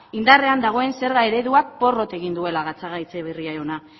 indarrean dagoen zerga ereduak porrot egin duela gatzagaetxebarria jauna